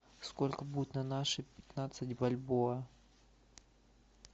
сколько будет на наши пятнадцать бальбоа